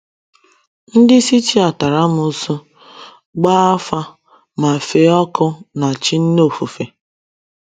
Ndị Scythia tara amụsu, gbaa afa ma fee ọkụ na chi nne ofufe.